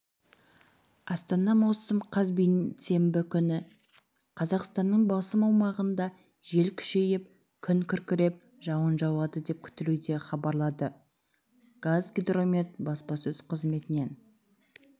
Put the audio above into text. астана маусым қаз бейсенбі күні қазақстанның басым аумағында жел күшейіп күн күркіреп жауын жауады деп күтілуде деп хабарлады қазгидромет баспасөз қызметінен